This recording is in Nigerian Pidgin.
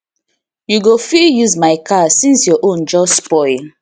you go fit use my car since your own just spoil